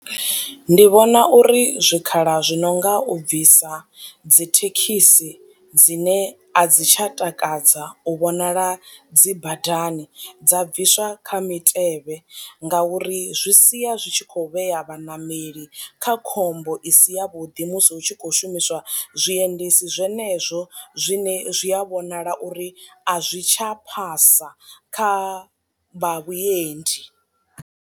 Ndi vhona uri zwikhala zwi no nga u bvisa dzi thekhisi dzine a dzi tsha takadza u vhonala dzi badani dza bviswa kha mitevhe nga uri zwi sia zwi tshi kho vheya vhaṋameli kha khombo i si ya vhuḓi musi hu tshi khou shumiswa zwi endedzi zwenezwo zwine zwi a vhonala uri a zwi tsha phasa kha vha vhuendi.